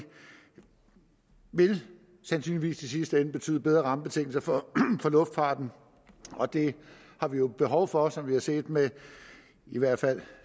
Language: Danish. vil sandsynligvis i sidste ende betyde bedre rammebetingelser for luftfarten og det har vi jo behov for som vi har set med i hvert fald